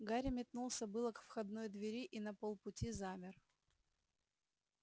гарри метнулся было к входной двери и на полпути замер